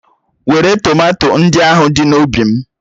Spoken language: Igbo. Wèré tomato ndị ahụ dị n'ubi m.